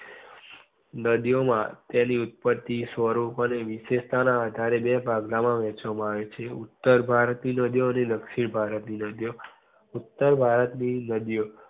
નદી ઓ માં તેની ઉત્પતિ થી સ્વરૂપ અને નીચે આધારે બે ભાગ માં વેહેચવામાં આવે છે. ઉત્તર ભારત ની નદી ઓ અને દક્ષિણ ભારત ની નદી ઓ ઉત્તર ભારત ની નદી ઓ